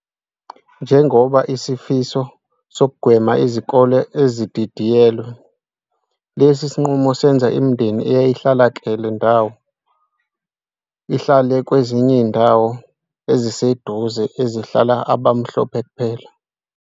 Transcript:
Njengoba isifiso sokugwema izikole ezididiyelwe, lesi sinqumo senza imindeni eyayi hlala kele ndawo ihlale kwezinye izindawo ezise duze ezihlala abamhlophe kuphela.